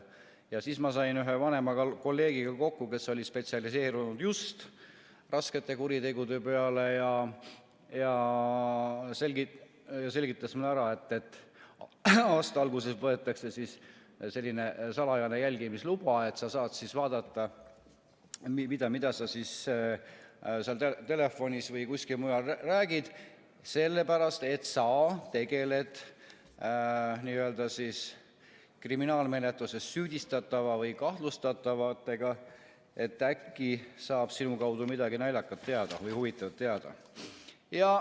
Ja siis ma sain ühe vanema kolleegiga kokku, kes oli spetsialiseerunud just raskete kuritegude peale ja ta selgitas mulle, et aasta alguses võetakse selline salajane jälgimisluba, et saab vaadata, mida sa seal telefonis või kuskil mujal räägid, sellepärast et sa tegeled kriminaalkuriteos süüdistatava või kahtlustatavaga ja äkki saab sinu kaudu midagi naljakat või huvitavat teada.